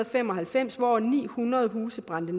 fem og halvfems hvor ni hundrede huse brændte